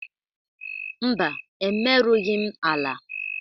Mba, emerughi m ala.